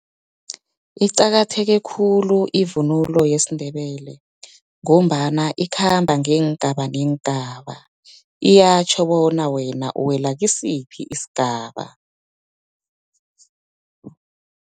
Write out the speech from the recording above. Iqakatheke khulu ivunulo yesindebele, ngombana ikhamba ngeengaba, neengaba iyatjho bona wena uwela kisiphi isigaba.